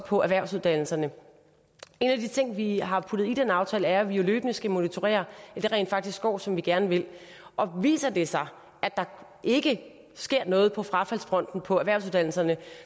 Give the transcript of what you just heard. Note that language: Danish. på erhvervsuddannelserne en af de ting vi har puttet i den aftale er at vi jo løbende skal monitorere at det rent faktisk går som vi gerne vil og viser det sig at der ikke sker noget på frafaldsfronten på erhvervsuddannelserne